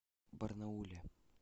барнауле